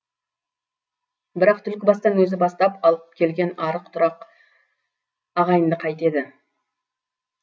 бірақ түлкібастан өзі бастап алып келген арық тұрақ ағайынды қайтеді